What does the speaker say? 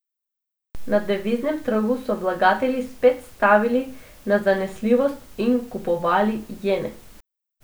Na deviznem trgu so vlagatelji spet stavili na zanesljivost in kupovali jene.